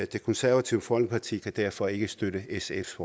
det konservative folkeparti kan derfor ikke støtte sfs